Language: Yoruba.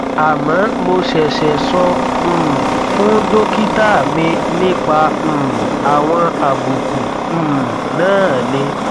àmọ mo ṣẹṣẹ sọ um fún dókítà mi nípa um àwọn àbùkù um náà ni